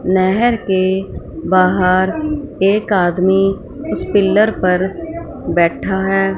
नहर के बाहर एक आदमी उस पिलर पर बैठा है।